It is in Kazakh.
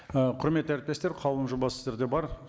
ііі құрметті әріптестер қаулының жобасы сіздерде бар